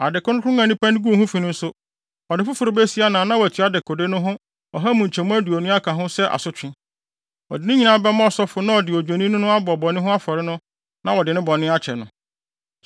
Ade kronkron a nipa no guu ho fi no nso, ɔde foforo besi anan na watua dekode no bo ɔha mu nkyɛmu aduonu aka ho sɛ asotwe. Ɔde ne nyinaa bɛma ɔsɔfo na ɔde Odwennini no abɔ bɔne afɔre no na wɔde ne bɔne akyɛ no.